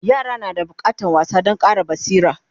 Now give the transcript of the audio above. yara na da bukatan wasa Dan Ƙara basira